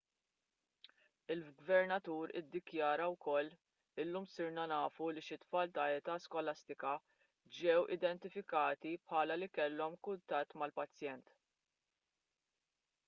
il-gvernatur iddikjara wkoll illum sirna nafu li xi tfal ta' età skolastika ġew identifikati bħala li kellhom kuntatt mal-pazjent